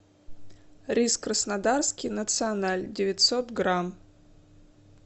рис краснодарский националь девятьсот грамм